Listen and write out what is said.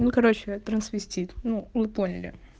ну короче трансвистит ну вы поняли